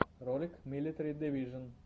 ролик милитари дивижон